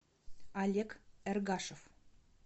олег эргашев